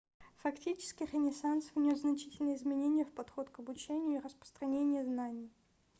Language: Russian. фактически ренессанс внес значительные изменения в подход к обучению и распространение знаний